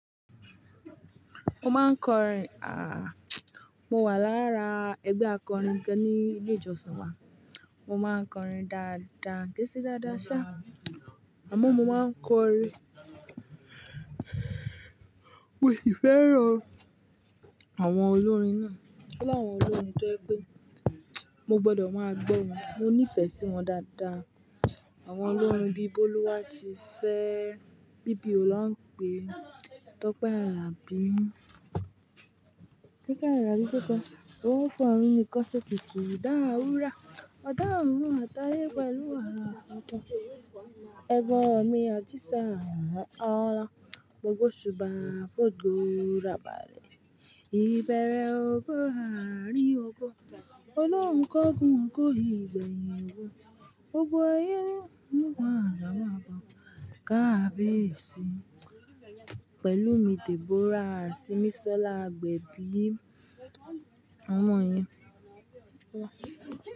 Mo máa ń kọrin. Aah! Mo wà lára ẹgbẹ́ akọrin kan ní ilé ìjọsìn wa. Mo máa ń kọrin dáadáa, kéṣì dáadáa ṣá. Àmọ́ mo máa ń kọrin. Mo sì fẹ́ràn àwọn olórin náà. Ọ̀lọ̀ àwọn olórin tó jẹ pẹ́. Mo gbọdọ̀ máa gbọ́ wọn. Mo nífẹ̀ẹ́ sí wọn dáadáa. Àwọn olórin bí Bólúwátifẹ́, BBO lán pé, Tope Alabi, Kíkẹ́ Ayòbítọ́pẹ́, O forun nikan se Kiki, Idah Wura, Ọ̀dá orun Àtayé pẹ̀lú ara oto, Ẹ̀bo mi Ajisa Olan, Mogbo suba Fódùrà bàrẹ́, Ìbẹ̀rẹ̀ ogo, Àrí ogo, Olóhunkógun kó ìgbẹ̀yìn wo, gbogbo aye Níkan, Lamab, Kabiyesi, pẹ̀lú mi Deborah, Simisola Agbẹbi, ọmọ yín.